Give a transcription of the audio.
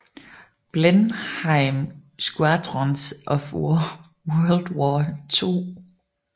Blenheim Squadrons of World War II